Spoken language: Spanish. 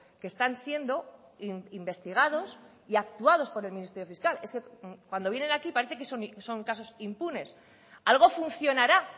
que están siendo investigados y actuados por el ministerio fiscal es que cuando vienen aquí parece que son casos impunes algo funcionará